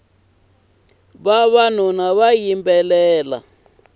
vavanuna va yimbelela